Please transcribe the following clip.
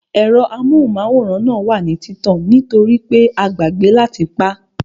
Ẹ̀rọ amóhùnmáwòrán náà wà ní títàn nítorípé a gbàgbẹ́ láti pá